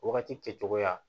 Wagati kɛcogoya